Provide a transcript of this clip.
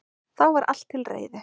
Þá var allt til reiðu